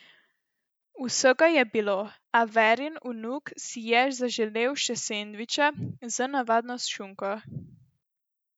Vsega je bilo, a Verin vnuk si je zaželel še sendviča z navadno šunko.